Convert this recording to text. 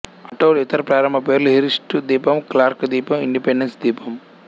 atoll ఇతర ప్రారంభ పేర్లు హిర్స్టు ద్వీపం క్లార్కు ద్వీపం ఇండిపెండెన్సు ద్వీపం